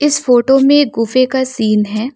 इस फोटो में गुफे का सीन है।